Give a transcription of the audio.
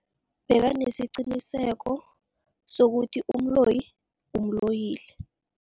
Bekanesiqiniseko sokuthi umloyi umloyile.